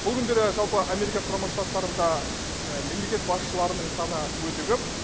бұл күндері жалпы америка құрама штаттарында мемлекет басшыларының саны өте көп